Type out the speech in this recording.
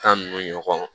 Tan ninnu ɲɔgɔn